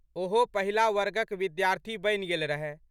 ओहो पहिला वर्गक विद्यार्थी बनि गेल रहए।